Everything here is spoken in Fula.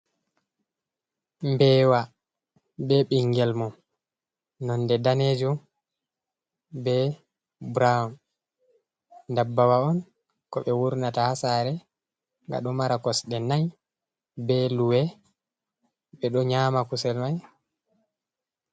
Mbewa be ɓingel mun nonde danejum be brown, ndabbawa on ko ɓe wurnata haa saare, ga ɗo mara kosɗe nayi be luwe ɓe do nyama kusel mai.